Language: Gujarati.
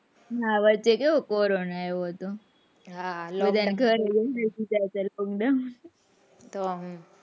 હા વચ્ચે કેવો corona આવ્યો હતો હા ઘરે lockdown